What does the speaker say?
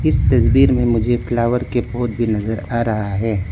इस तस्वीर में मुझे फ्लावर के पोट भी नजर आ रहा है।